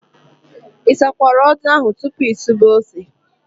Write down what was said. Ị sakwara odo ahụ tupu ị sube ose?